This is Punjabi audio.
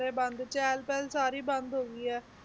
ਸਾਰੇ ਬੰਦ ਚਹਿਲ ਪਹਿਲ ਸਾਰੀ ਬੰਦ ਹੋ ਗਈ ਹੈ,